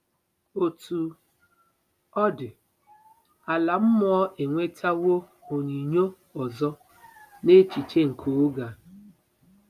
Otú ọ dị, ala mmụọ enwetawo onyinyo ọzọ n'echiche nke oge a.